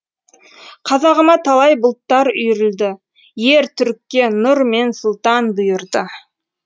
қазағыма талай бұлттар үйрілді ер түрікке нұр мен сұлтан бұйырды